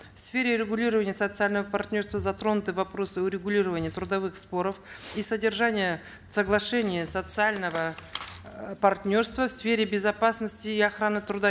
в сфере регулирования социального партнерства затронуты вопросы урегулирования трудовых споров и содержания соглашения социального э партнерства в сфере безопасности и охраны труда